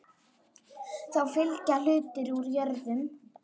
Þá fylgja hlutir úr jörðum.